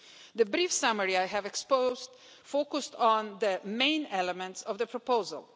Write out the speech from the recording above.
The brief summary I have set out focused on the main elements of the proposal.